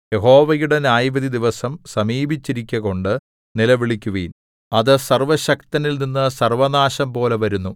യഹോവയുടെ ന്യായവിധി ദിവസം സമീപിച്ചിരിക്കുകകൊണ്ട് നിലവിളിക്കുവിൻ അത് സർവ്വശക്തനിൽനിന്ന് സർവ്വനാശംപോലെ വരുന്നു